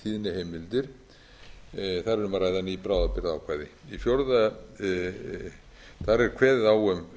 að ræða ný bráðabirgðaákvæði í frumvarpinu er kveðið á um